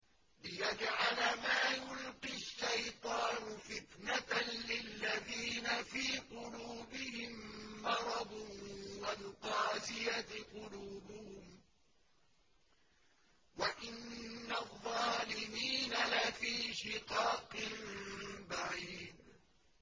لِّيَجْعَلَ مَا يُلْقِي الشَّيْطَانُ فِتْنَةً لِّلَّذِينَ فِي قُلُوبِهِم مَّرَضٌ وَالْقَاسِيَةِ قُلُوبُهُمْ ۗ وَإِنَّ الظَّالِمِينَ لَفِي شِقَاقٍ بَعِيدٍ